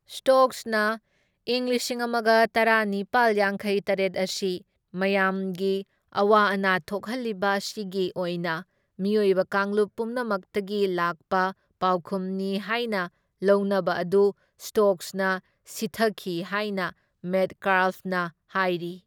ꯁ꯭ꯇꯣꯛꯁꯅ ꯏꯪ ꯂꯤꯁꯤꯡ ꯑꯃꯒ ꯇꯔꯥꯅꯤꯄꯥꯜ ꯌꯥꯡꯈꯩ ꯇꯔꯦꯠ ꯑꯁꯤ ꯃꯌꯥꯝꯒꯤ ꯑꯋꯥ ꯑꯅꯥ ꯊꯣꯛꯍꯜꯂꯤꯕ ꯑꯁꯤꯒꯤ ꯑꯣꯏꯅ ꯃꯤꯑꯣꯏꯕ ꯀꯥꯡꯂꯨꯞ ꯄꯨꯝꯅꯃꯛꯇꯒꯤ ꯂꯥꯛꯄ ꯄꯥꯎꯈꯨꯝꯅꯤ ꯍꯥꯏꯅ ꯂꯧꯅꯕ ꯑꯗꯨ ꯁ꯭ꯇꯣꯛꯁꯅ ꯁꯤꯊꯈꯤ ꯍꯥꯏꯅ ꯃꯦꯠꯀꯥꯜꯐꯅ ꯍꯥꯏꯔꯤ꯫